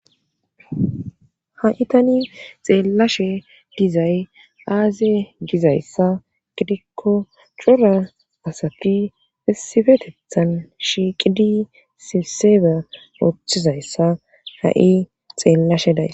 Ha7itani xeellashe dizay aaze gizayssa gidikko cura asati esifetethan shiiqidi sibsebe ooththizayssa ha7i xeellashe day.